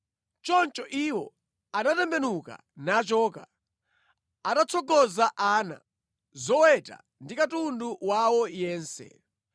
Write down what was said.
Choncho iwo anatembenuka nachoka, atatsogoza ana, zoweta ndi katundu wawo yense.